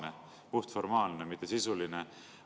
Et see ongi puhtformaalne, mitte sisuline?